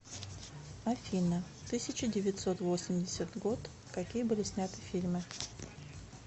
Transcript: афина тысяча девятьсот восемьдесят год какие были сняты фильмы